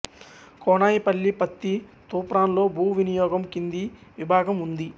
కోనాయిపల్లి పత్తి తూప్రాన్లో భూ వినియోగం కింది విధంగా ఉంది